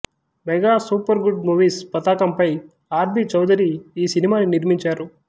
mega Super Good Movies పతాకంపై R B Chowdary ఈ సినిమాని నిర్మించారు